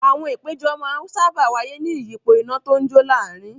Àwọn ìpéjọ máa ń sáábà wáyé ní ìyípo iná tó ń jó láàárin.